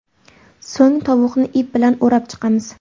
So‘ng tovuqni ip bilan o‘rab chiqamiz.